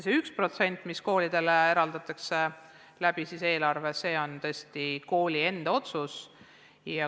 Selle 1% üle, mis koolidele eraldatakse, saab tõesti kool ise otsustada.